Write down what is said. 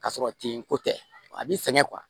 Ka sɔrɔ ten ko tɛ a bɛ sɛgɛn